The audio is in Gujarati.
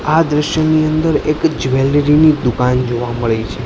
આ દ્રશ્યની અંદર એક જ્વેલરી ની દુકાન જોવા મડે છે.